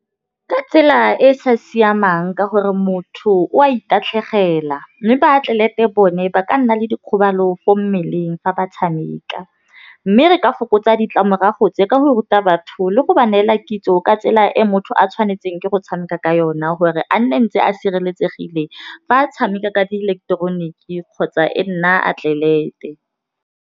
Ka tsela e sa siamang ka gore motho o a itatlhegela, mme ba atlelete bone ba ka nna le dikgobalo ko mmeleng fa ba tšhameka. Mme re ka fokotsa ditlamorago tse ka go ruta batho le go ba neela kitso ka tsela e motho a tšhwanetseng ke go tšhameka ka yona gore a nne ntse a sireletsegileng fa a tšhameka ka dieleketeroniki kgotsa e nna atlelete.